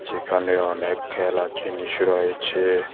যেখানে অনেক খেলার জিনিস রয়েছে।